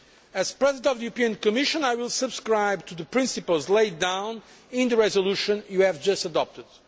As President of the European Commission, I will subscribe to the principles laid down in the resolution you have just adopted.